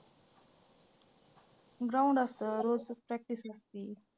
ground असतं रोजची practice लागती.